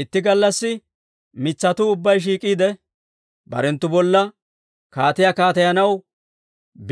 «Itti gallassi mitsatuu ubbay shiik'iide, barenttu bolla kaatiyaa kaateyanaw